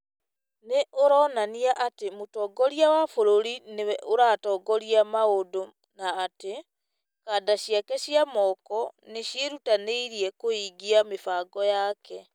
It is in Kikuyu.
nĩ oronania atĩ mũtongoria wa bũrũri nĩwe ũratongoria maũndũ na atĩ "kanda ciake cia moko" nĩ ciĩrutanĩirie kũhingia mĩbango yake.